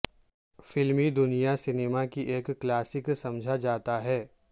film دنیا cinema کی ایک کلاسک سمجھا جاتا ہے